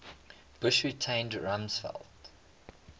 bush retained rumsfeld